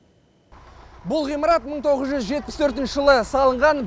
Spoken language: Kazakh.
бұл ғимарат мың тоғыз жүз жетпіс төртінші жылы салынған